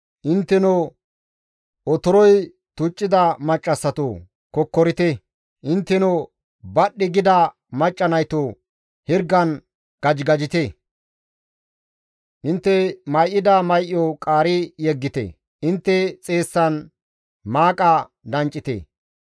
Intteno otoroy tuccida maccassatoo! Kokkorite. Intteno badhdhi gida macca naytoo! Hirgan gajigajite. Intte may7ida may7o qaari yeggite; intte xeessan maaqa danccite.